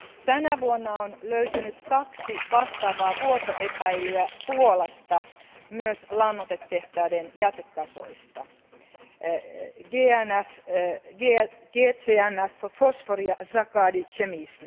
Tänä vuonna on löytynyt kaksi vastaavaa vuotoepäilyä Puolasta myös lannoitetehtaiden jätekasoista, GZNF Fosfory ja Zakady Chemiczne.